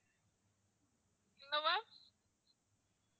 என்ன ma'am